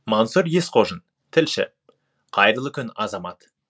мансұр есқожин тілші қайырлы күн азамат